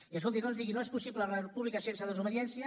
i escolti no ens digui no és possible república sense desobediència